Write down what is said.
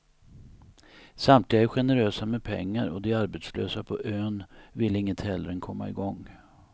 Samtliga är generösa med pengar och de arbetslösa på ön vill inget hellre än komma igång.